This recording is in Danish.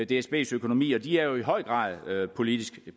dsbs økonomi og de er jo i høj grad politisk